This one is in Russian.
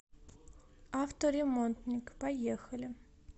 авторемонтник поехали